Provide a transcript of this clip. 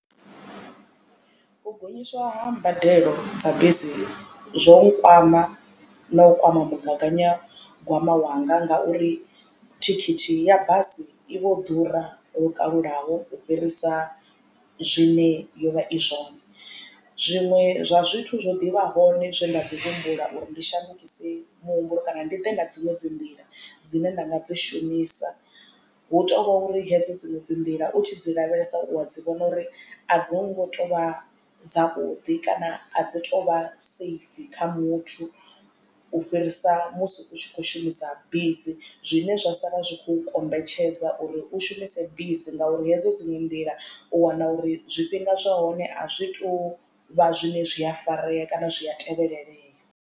U gonyiswa ha mbadelo dza bisi zwo nkwama no u kwama mugaganyagwama wanga ngauri thikhithi ya basi i vho ḓura lwo kalulaho u fhirisa zwine yo vha i zwone. Zwiṅwe zwa zwithu zwo ḓivha hone zwe nda ḓi humbula uri ndi shandukise muhumbulo kana ndi ḓe na dziṅwe dzi nḓila dzine nda nga dzi shumisa hu tovhori hedzo dziṅwe dzi nḓila u tshi dzi lavhelesa u a dzi vhona uri a dzi ngo tovha dza vhuḓi kana a dzi tovha safe kha muthu u fhirisa musi u tshi kho shumisa bisi zwine zwa sala zwi kho kombetshedza uri u shumise bisi ngauri hedzo dziṅwe nḓila u wana uri zwifhinga zwa hone a zwi to vha zwine zwi a farea kana zwi a tevhelelela.